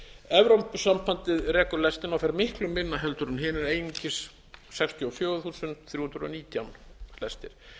evrópusambandið rekur lestina og fær miklu minna heldur en hinir einungis sextíu og fjögur þúsund þrjú hundruð og nítján lestir